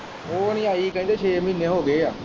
ਉਹ ਨਹੀਂ ਆਈ ਕਹਿੰਦੇ ਛੇ ਮਹੀਨੇ ਹੋ ਗਏ ਹੈ।